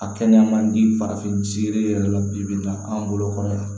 A kɛnɛya man di farafin siri yɛrɛ la bi-bi na an bolo kɔrɔ yan